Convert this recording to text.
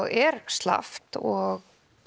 er slappt og